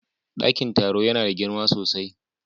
Dakin taro yana da girma sosai.